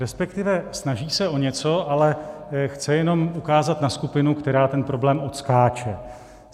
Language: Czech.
Respektive snaží se o něco, ale chce jenom ukázat na skupinu, která ten problém odskáče.